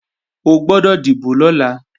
O gbọ́dọ̀ dìbò lọ́la